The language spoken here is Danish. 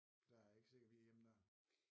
Der er jeg ikke sikker vi er hjemme dér